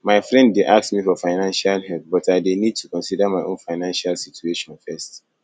my friend dey ask me for financial help but i dey need to consider my own financial situation first